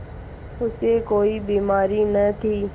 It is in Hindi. उसे कोई बीमारी न थी